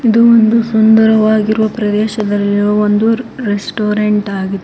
ಇದು ಒಂದು ಸುಂದರವಾಗಿರುವ ಪ್ರದೇಶದಲ್ಲಿರುವ ಒಂದು ರೆಸ್ಟೋರೆಂಟ್ ಆಗಿದೆ.